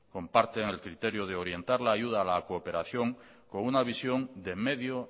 comparten el criterio de orientar la ayuda a la cooperación con una visión de medio